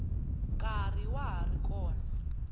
nkarhi wa ha ri kona